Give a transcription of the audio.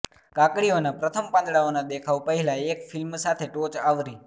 કાકડીઓના પ્રથમ પાંદડાઓના દેખાવ પહેલાં એક ફિલ્મ સાથે ટોચ આવરી